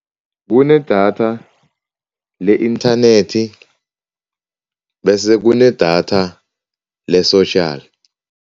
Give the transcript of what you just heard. Kunedatha le-inthanethi bese kunedatha le-social.